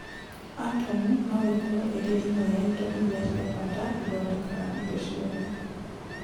Atomu no ĩkorũo ĩrĩ ĩmwe ya indo iria cia bata ithondekaga indo ciothe.